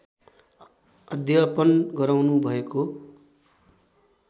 अध्यपन गराउनु भएको